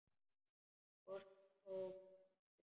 Hvort hún tók eftir mér.